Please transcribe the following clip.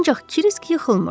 Ancaq Kirisk yıxılmırdı.